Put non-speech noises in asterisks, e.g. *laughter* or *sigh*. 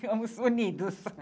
Ficamos unidos. *laughs*